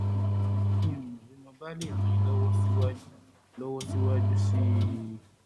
bí mo bá lè ràn yín lọ́wọ́ síwájú lọ́wọ́ síwájú sí i